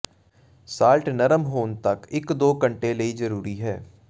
salt ਨਰਮ ਹੋਣ ਤੱਕ ਇੱਕ ਦੋ ਘੰਟੇ ਦੇ ਲਈ ਜ਼ਰੂਰੀ ਹੈ